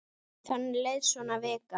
Þannig leið svo vikan.